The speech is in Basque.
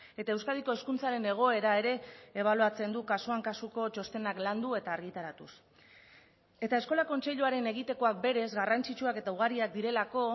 eta euskadiko hezkuntzaren egoera ere ebaluatzen du kasuan kasuko txostenak landu eta argitaratuz eta eskola kontseiluaren egitekoak berez garrantzitsuak eta ugariak direlako